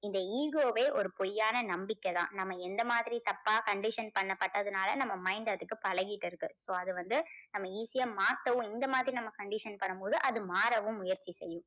இந்த ego வே ஒரு பொய்யான நம்பிக்கைதான். நம்ம எந்த மாதிரி தப்பா condition பண்ணப்பட்டதுனால நம்ம mind அதுக்கு பழகிட்டு இருக்கு. so அது வந்து நம்ம easy யா மாத்தவும் இந்த மாதிரி நம்ம condition பண்ணும் போது அது மாறவும் முயற்சி செய்யும்.